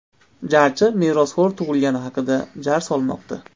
Jarchi merosxo‘r tug‘ilgani haqida jar solmoqda.